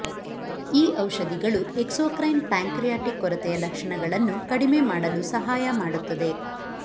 ಈ ಔಷಧಿಗಳು exocrine pancreatic ಕೊರತೆಯ ಲಕ್ಷಣಗಳನ್ನು ಕಡಿಮೆ ಮಾಡಲು ಸಹಾಯ ಮಾಡುತ್ತದೆ